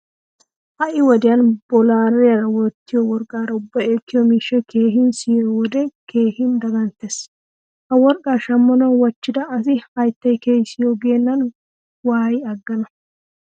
Ha"i wodiyan boral"iyan wottiyo worqqaara ubbay ekkiyo miishshay keehin siyiyo wode keehin daganttees. Ha worqqa shammanawu wachchida asi "hayttay kehaa siyo" geennan waayi aggana.